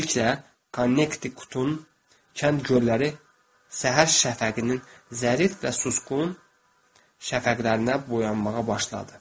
Tezliklə Konnektikutun kənd gölləri səhər şəfəqinin zərif və susqun şəfəqlərinə boyanmağa başladı.